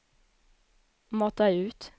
mata ut